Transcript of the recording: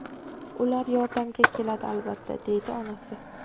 Ular yordamga keladi albatta”, deydi onasi.